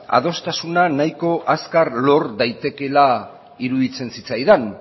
adostasuna nahiko azkar lor daitekeela iruditzen zitzaidan